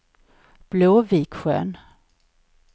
Blåviksjön